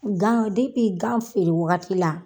Gan depi gan feere wagati la.